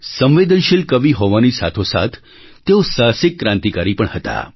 સંવેદનશીલ કવિ હોવાની સાથોસાથ તેઓ સાહસિક ક્રાંતિકારી પણ હતા